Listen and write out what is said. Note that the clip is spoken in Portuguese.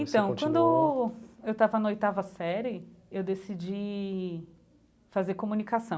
Então quando eu estava na oitava série, eu decidi fazer comunicação.